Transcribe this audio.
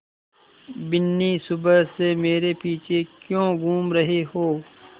बिन्नी सुबह से मेरे पीछे क्यों घूम रहे हो